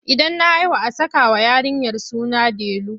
Idan na haihu a sakawa yarinyar suna delu.